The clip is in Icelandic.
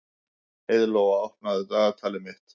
Heiðlóa, opnaðu dagatalið mitt.